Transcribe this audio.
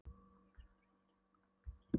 Allir voru þeir í regnkápum og stígvélum.